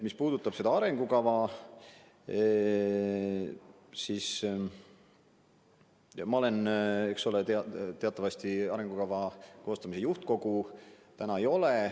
Mis puudutab seda arengukava, siis teatavasti arengukava koostamise juhtkogu täna ei ole.